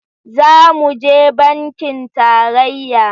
Za mu je bankin tarayya.